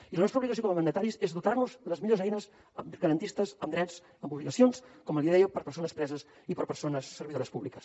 i la nostra obligació com a mandataris és dotar nos de les millors eines garantistes en drets en obligacions com li deia per a persones preses i per a persones servidores públiques